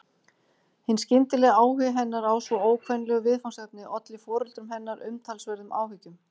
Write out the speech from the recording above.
Hinn skyndilegi áhugi hennar á svo ókvenlegu viðfangsefni olli foreldrum hennar umtalsverðum áhyggjum.